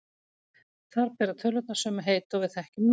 Þar bera tölurnar sömu heiti og við þekkjum nú.